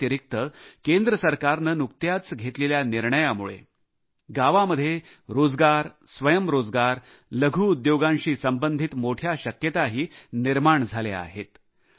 या व्यतिरिक्त केंद्र सरकारने नुकत्याच घेतलेल्या निर्णयामुळे गावांमध्ये रोजगार स्वयंरोजगार लघु उद्योगांशी संबंधित मोठ्या शक्यताही निर्माण झाल्या आहेत